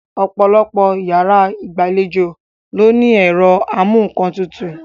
Ọ̀pọ̀lọpọ̀ yàrá ìgbàlejò ló ní ẹ̀rọ amú-ńkan-tutù